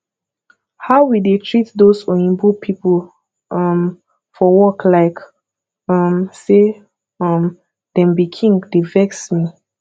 how we dey treat doz oyinbo people um for work like um say um dem be king dey vex me